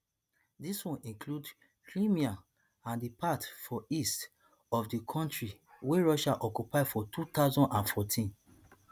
dis one include crimea and di parts for east of di kontri wey russia occupy for two thousand and fourteen